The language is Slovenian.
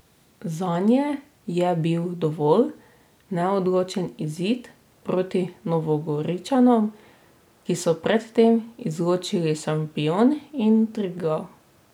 Zanje je bil dovolj neodločen izid proti Novogoričanom, ki so pred tem izločili Šampion in Triglav.